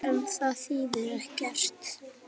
En það þýðir ekkert.